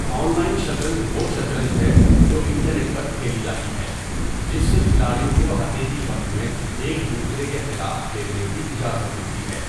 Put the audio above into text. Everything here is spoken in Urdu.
آن لائن شطرنج وہ شطرنج ہے جو انٹرنیٹ پر کھیلی جاتی ہے، جس سے کھلاڑیوں کو حقیقی وقت میں ایک دوسرے کے خلاف کھیلنے کی اجازت ملتی ہے۔